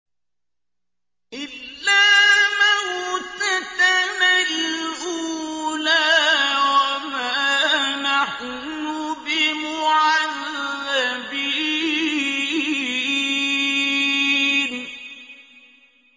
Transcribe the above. إِلَّا مَوْتَتَنَا الْأُولَىٰ وَمَا نَحْنُ بِمُعَذَّبِينَ